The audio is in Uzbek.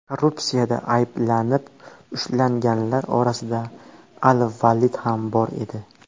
Korrupsiyada ayblanib ushlanganlar orasida al-Valid ham bor edi .